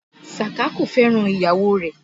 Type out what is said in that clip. Sàká kò fẹ́ràn ìyàwó rẹ̀